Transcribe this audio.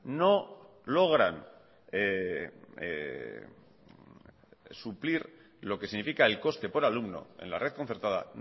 no logran suplir lo que significa el coste por alumno en la red concertada